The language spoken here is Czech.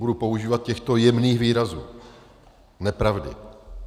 Budu používat těchto jemných výrazů - nepravdy.